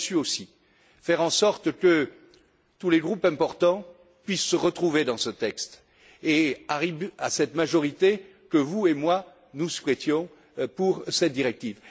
Vous avez su aussi faire en sorte que tous les groupes importants puissent se retrouver dans ce texte et arriver à cette majorité que vous et moi nous souhaitions pour cette directive.